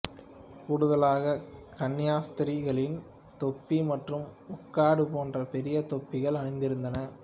கூடுதலாக கன்னியாஸ்திரிகளின் தொப்பி மற்றும் முக்காடு போன்ற பெரிய தொப்பிகள் அணிந்திருந்தன